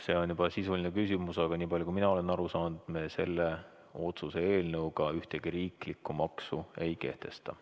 See on juba sisuline küsimus, aga nii palju, kui mina olen aru saanud, me selle otsuse eelnõuga ühtegi riiklikku maksu ei kehtesta.